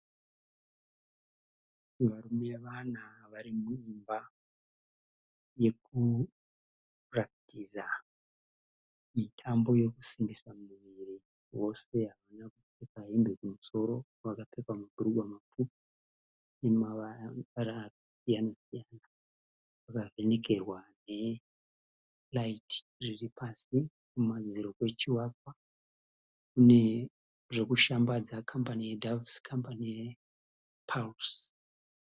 Varume vana varimuimba yekupurakitiza mitambo yekusimbisa miviri. Vose havana kupfeka hembe kumusoro vakapfeka mabhurugwa mapfupi anemavara akasiyana siyana. Vakavhenekerwa neraiti riripasi. Kumadzito kwechivakwa kune zvekushambadza kambani yeDoves kambani yePulse.